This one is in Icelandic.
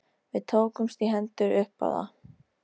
Við tókumst í hendur upp á það.